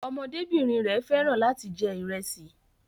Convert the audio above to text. Ọmọdébìnrin rẹ̀ fẹ́ràn láti jẹ ìrẹsì